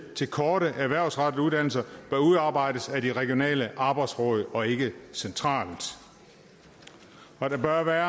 til korte erhvervsrettede uddannelser bør udarbejdes af de regionale arbejdsråd og ikke centralt og der bør være